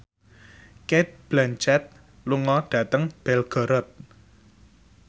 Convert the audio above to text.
Cate Blanchett lunga dhateng Belgorod